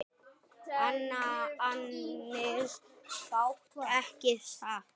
Ansi fátt ekki satt?